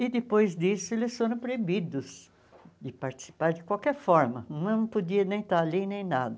E, depois disso, eles foram proibidos de participar de qualquer forma, não podia nem estar ali, nem nada.